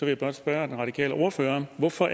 jeg blot spørge den radikale ordfører hvorfor